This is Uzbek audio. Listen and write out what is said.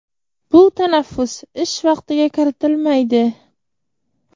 bu tanaffus ish vaqtiga kiritilmaydi.